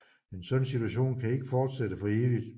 En sådan situation kan ikke fortsætte for evigt